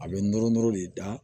A bɛ nɔrɔ nɔrɔ de da